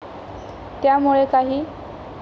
त्यामुळे काही.